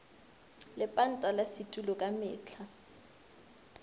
lepanta la setulo ka mehla